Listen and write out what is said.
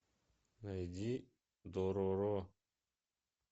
найди дороро